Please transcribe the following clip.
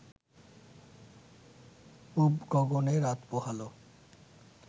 পুব গগনে রাত পোহাল